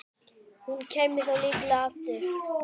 Hún kæmi þá líklega aftur.